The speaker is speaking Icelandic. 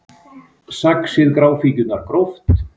Saxið gráfíkjurnar gróft